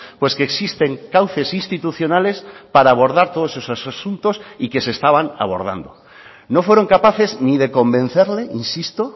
pues que existen cauces institucionales para abordar todos esos asuntos y que se estaban abordando no fueron capaces ni de convencerle insisto